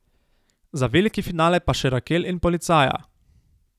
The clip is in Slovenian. Za veliki finale pa še Rakel in policaja.